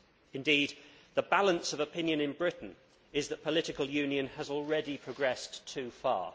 Indeed, the balance of opinion in Britain is that political union has already progressed too far.